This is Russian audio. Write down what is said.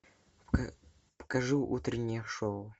покажи утреннее шоу